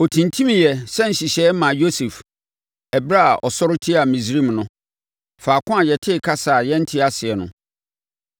Ɔtintimiiɛ sɛ nhyehyɛeɛ maa Yosef ɛberɛ a ɔsɔre tiaa Misraim no, faako a yɛtee kasa a yɛnte aseɛ no.